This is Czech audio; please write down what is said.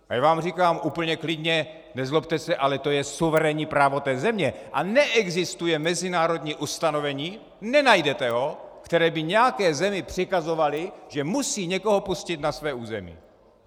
A já vám říkám úplně klidně - nezlobte se, ale to je suverénní právo té země a neexistuje mezinárodní ustanovení, nenajdete ho, které by nějaké zemi přikazovalo, že musí někoho pustit na své území!